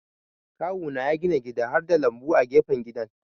Kawuna ya gina gida harda lambu a gefen gidan.